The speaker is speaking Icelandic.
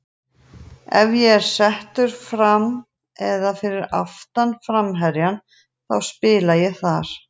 Ef að ég er settur fram eða fyrir aftan framherjann þá spila ég þar.